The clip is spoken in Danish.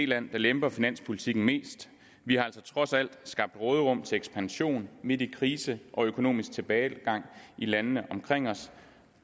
land der lemper finanspolitikken mest vi har altså trods alt skabt råderum til ekspansion midt i krise og økonomisk tilbagegang i landene omkring os